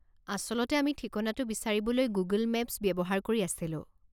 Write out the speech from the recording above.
আচলতে আমি ঠিকনাটো বিচাৰিবলৈ গুগল মেপছ ব্যৱহাৰ কৰি আছিলোঁ।